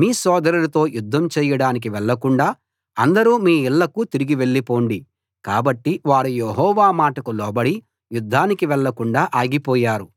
మీ సోదరులతో యుద్ధం చేయడానికి వెళ్లకుండా అందరూ మీ ఇళ్ళకు తిరిగి వెళ్ళిపొండి కాబట్టి వారు యెహోవా మాటకు లోబడి యుద్ధానికి వెళ్ళకుండా ఆగిపోయారు